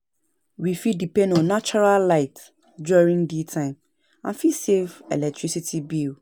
We fit depend on natural light during day time to fit save electricity bill